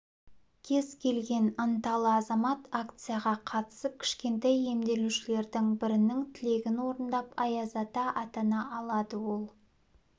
кез келген ынталы азамат акцияға қатысып кішкентай емделушілердің бірінің тілегін орындап аяз ата атана алады ол